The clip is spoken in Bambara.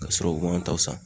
K'a sɔrɔ u ma taw san